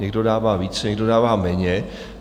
Někdo dává více, někdo dává méně.